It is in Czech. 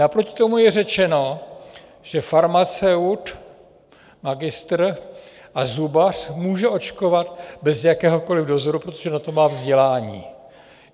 Naproti tomu je řečeno, že farmaceut, magistr a zubař může očkovat bez jakéhokoli dozoru, protože na to má vzdělání.